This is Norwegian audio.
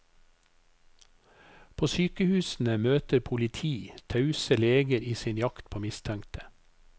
På sykehusene møter politi tause leger i sin jakt på mistenkte.